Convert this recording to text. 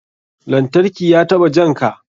Lantarki ya taɓa janka?